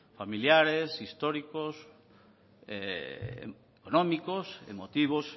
familiares históricos económicos emotivos